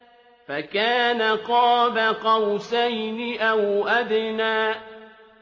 فَكَانَ قَابَ قَوْسَيْنِ أَوْ أَدْنَىٰ